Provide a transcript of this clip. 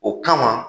O kama